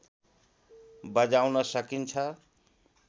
बजाउन सकिन्छ